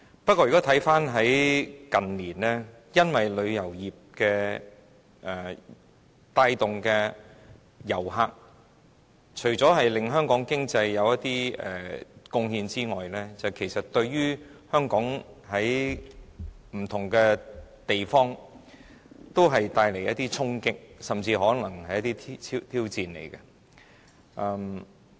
不過，看回近年，因為旅遊業帶動的遊客，除了對香港經濟有貢獻外，其實對香港不同方面也帶來衝擊，甚至是挑戰。